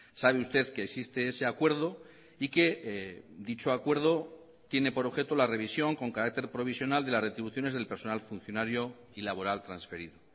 sabe usted que existe ese acuerdo y que dicho acuerdo tiene por objeto la revisión con carácter provisional de las retribuciones del personal funcionario y laboral transferido